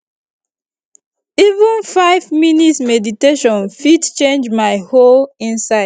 even five minutes meditation fit change my whole inside